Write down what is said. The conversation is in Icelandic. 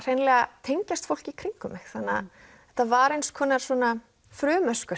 hreinlega tengjast fólki í kringum mig þannig að þetta var eins konar svona